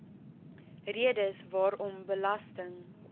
redes waarom belasting